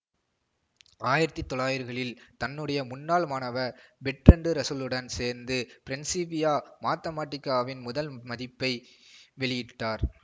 ஆயிரத்தி தொள்ளாயிருகளில் தன்னுடைய முன்னாள் மாணவர் பெர்ட்ரண்டு ரசலுடன் சேர்ந்து பிரின்சிப்பியா மாத்தமாட்டிக்காவின் முதல் மதிப்பை வெளியிட்டார்